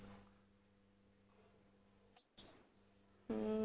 ਹਮ